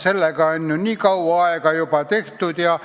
Sellega on ju nii kaua aega juba tegeldud ja